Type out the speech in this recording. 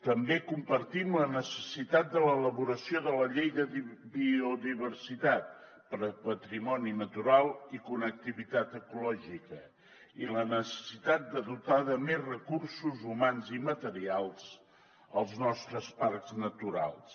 també compartim la necessitat de l’elaboració de la llei de biodiversitat per al patrimoni natural i connectivitat ecològica i la necessitat de dotar de més recursos humans i materials els nostres parcs naturals